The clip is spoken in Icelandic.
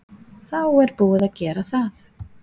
Þá er búið að gera það.